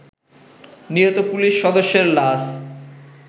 নিহত পুলিশ সদস্যের লাশ